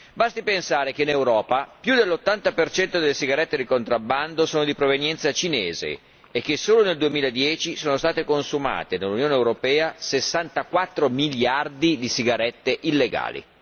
Basti pensare che in Europa più dell'80 delle sigarette di contrabbando sono di provenienza cinese e che solo nel 2010 sono state consumate nell'Unione europea 64 miliardi di sigarette illegali.